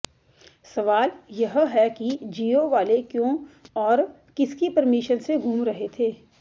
सवाल यह है कि जियो वाले क्यों और किसकी परमिशन से घूम रहे थे